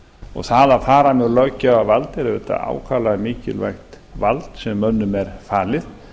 og það að fara með löggjafarvald er auðvitað ákaflega mikilvægt vald sem mönnum er falið